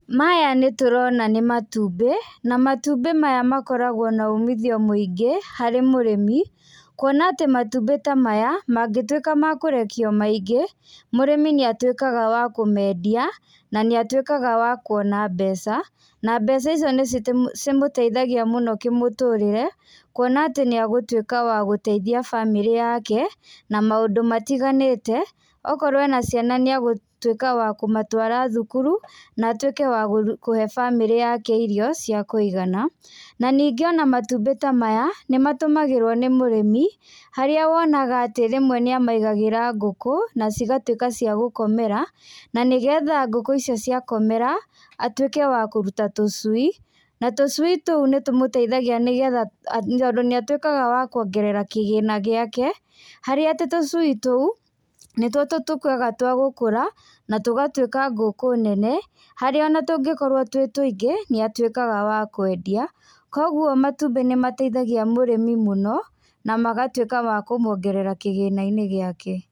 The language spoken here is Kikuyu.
Maya nĩtũrona nĩ matumbĩ, na matumbĩ maya makoragwo na umithio mũingĩ, harĩ mũrĩmi, kuona atĩ matumbi ta maya, mangĩtuika ma kũrekio maingĩ, mũrĩmi nĩatuĩkaga wa kũmendia, na nĩatuĩkaga wa kuona mbeca, na mbeca icio nĩcitũ nĩcimũteithagia mũno kĩmũtũrĩre, kuona atĩ nĩagũtuĩka wa gũteithia bamĩrĩ yake, na maũndũ matiganĩte, okorwo ena ciana nĩagũtuĩka wa kũmatwara thukuru, na atuĩke wa gũ kũhe bamĩrĩ yake irio cia kũigana, na ningĩ ona matumbĩ ta maya, nĩmatũmagĩrwo nĩ mũrĩmi, harĩa wonaga atĩ rĩmwe nĩamaigagĩra ngũkũ na cigatuĩka cia gũkomera, na nĩgetha ngũkũ icio cia komera, atuĩke wa kũruta tũcui, na tucui tuũ nĩtũmũteithagia nĩgetha tondũ nĩatuĩkaga wa kuongerera kĩgĩna gĩake, harĩa atĩ tũcui tuũ, nĩtuo tukoragwo twa gũkũra, na tũgatuĩka ngũkũ nene, harĩa ona tũngĩkorwo twĩ tũingĩ , nĩatuĩkaga wa kwendia, koguo matumbĩ nĩmateithagia mũrĩmi mũno, namagatuĩka makũmwongerera kĩgĩnainĩ gĩake.